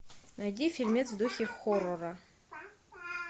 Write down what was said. найди фильмец в духе хоррора